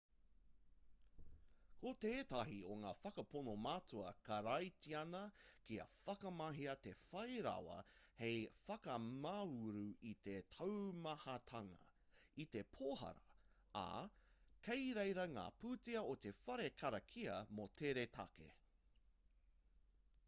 ko tētahi o ngā whakapono matua karaitiana kia whakamahia te whai rawa hei whakamāuru i te taumahatanga i te pōhara ā kei reira ngā pūtea o te whare karakia mō tērā take